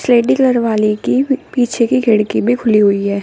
Ready colour वाले की पीछे की खिड़की भी खुली हुई है।